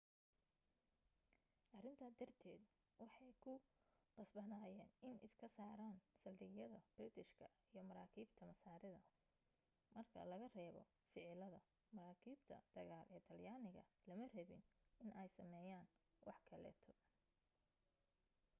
arinta darted waxee ku qasbanayen in iska saaran saldhigyada biritishka iyo maraakibta masaarida marka laga reebo ficiladaa maraakiibta dagaal ee talyaniga lama rabin in ay sameyan wax kaleeto